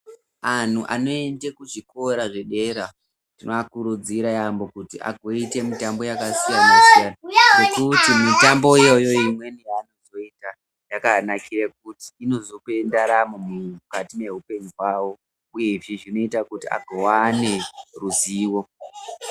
Anhu anoenda kuzvikora zvedera tinovakurudzira yambo kuti vazoita mitambo yakasiyana siyana Mitambo imweni yavanozoita yakanakira kuti inozopa ndaramo mukati mehupenyu hwavo uye Izvi zvinoita agova neruzivo.